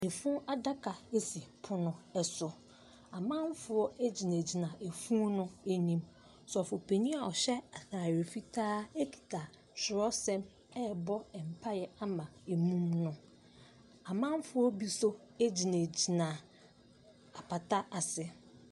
Funu adaka si pono so, amamfo gyina funu no anim, Sɔfopanin a ɔhyɛ ataare fitaa kita twerɛsɛm ɛrebɔ mpaeɛ ama mu no, amamfoɔ bi nso gyinagyina apata ase.